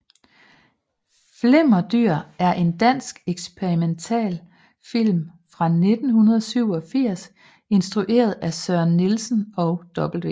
Flimmerdyr er en dansk eksperimentalfilm fra 1987 instrueret af Søren Nielsen og W